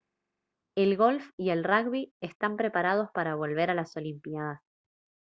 el golf y el rugby están preparados para volver a las olimpiadas